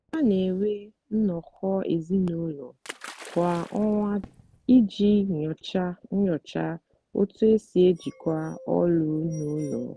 ha na-enwe nnọkọ ezinụlọ kwa ọnwa iji nyochaa nyochaa otú e si ejikwa ọlụ n’ụlọ.